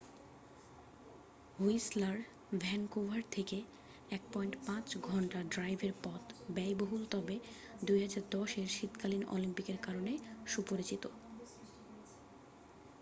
Whistler Vancouver থেকে 1.5 ঘন্টা ড্রাইভের পথ ব্যয়বহুল তবে 2010 এর শীতকালীন অলিম্পিকের কারণে সুপরিচিত।